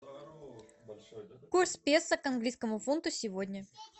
курс песо к английскому фунту сегодня